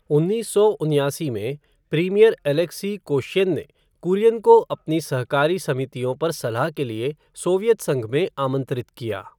उन्नीस सौ उन्यासी में, प्रीमियर अलेक्सी कोश्यिन ने कुरियन को अपनी सहकारी समितियों पर सलाह के लिए सोवियत संघ में आमंत्रित किया।